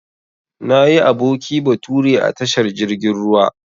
Nayi aboki bature a tashar jirgin ruwa.